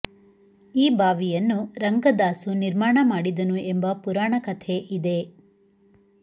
ಈ ಬಾವಿಯನ್ನು ರಂಗದಾಸು ನಿರ್ಮಾಣ ಮಾಡಿದನು ಎಂಬ ಪುರಾಣ ಕಥೆ ಇದೆ